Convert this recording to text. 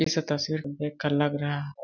इस तस्वीर तस्वीर में देख कर लग रहा है।